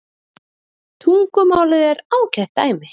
Tungumálið er ágætt dæmi.